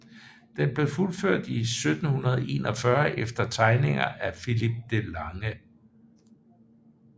Den blev fuldført i 1741 efter tegninger af Philip de Lange